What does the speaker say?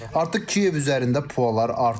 Artıq Kiyev üzərində pualar artıb.